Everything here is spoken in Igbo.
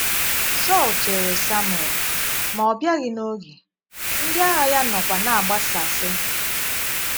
Sọl chèrè Samuel, ma ọ bịaghị n’ógè, ndị àgha ya nọkwa na - agbàsàsị.